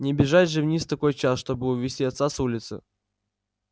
не бежать же вниз в такой час чтобы увести отца с улицы